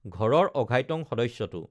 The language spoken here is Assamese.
ঘৰৰ অঘাইতং সদস্যটো